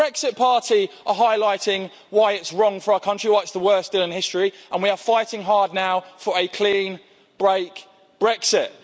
The Brexit Party is highlighting why it's wrong for our country, why it's the worst deal in history and we are fighting hard now for a clean break Brexit.